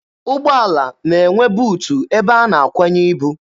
Ụgbọala na-enwe buutu ebe a na-akwanye ibu.